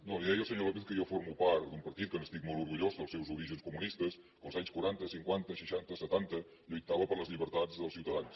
no li deia al senyor lópez que jo formo part d’un partit que n’estic molt orgullós dels seus orígens comunistes que els anys quaranta cinquanta seixanta setanta lluitava per les llibertats dels ciutadans